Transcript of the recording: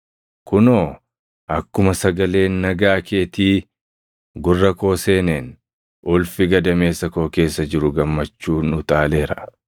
Kunoo, akkuma sagaleen nagaa keetii gurra koo seeneen ulfi gadameessa koo keessa jiru gammachuun utaaleera.